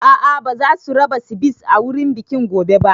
A'a ba zasu raba Sivice a wurin bikin gobe ba